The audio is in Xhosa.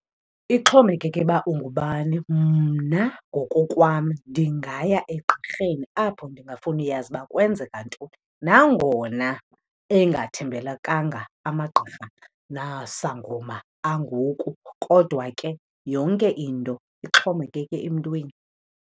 Ixhomekeke uba ungubani. Mna ngokokwam ndingaya egqirheni apho ndingafunuyazi uba kwenzeka ntoni. Nangona engathembekalanga amagqirha nasangoma angoku kodwa ke yonke into ixhomekeke emntwini.